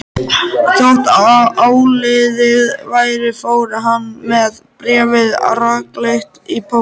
Þótt áliðið væri fór hann með bréfið rakleitt í póst.